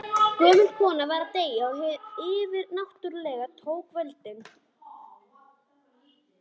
Gömul kona var að deyja og hið yfirnáttúrlega tók völdin.